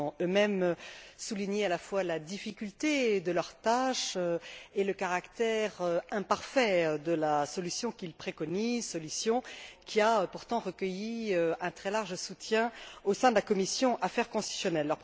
Ils ont, eux mêmes, souligné à la fois la difficulté de leur tâche et le caractère imparfait de la solution qu'ils préconisaient, solution qui a pourtant recueilli un très large soutien au sein de la commission des affaires constitutionnelles.